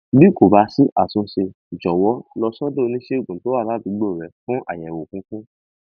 bí kò bá sí àtúnṣe jọwọ lọ sọdọ oníṣègùn tó wà ládùúgbò rẹ fún àyẹwò kíkún